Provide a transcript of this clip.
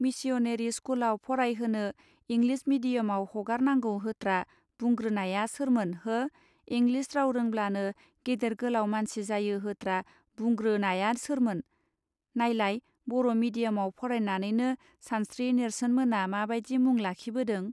Missionary स्कूलआव फराय होनो इंग्लीश मीडियमआव हगार नांगौ होत्रा बुंग्रोनाया सोरमोन हो इंग्लीश राव रोंब्लानो गेदेर गोलाव मानसि जायोहोत्रा बुंग्रोनाया सोरमोन नाइलाय बर' मीडियमआव फरायनानैनो सानश्रि नेर्सोन मोना माबादि मुं लाखिबोदों!.